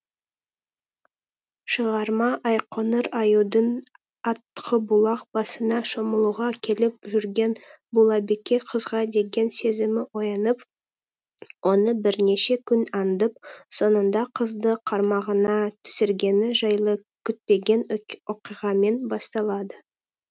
шығарма айқоңыр аюдың атқыбұлақ басына шомылуға келіп жүрген бұлабике қызға деген сезімі оянып оны бірнеше күн аңдып соңында қызды қармағына түсіргені жайлы күтпеген оқиғамен басталады